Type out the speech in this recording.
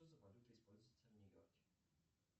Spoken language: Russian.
что за валюта используется в нью йорке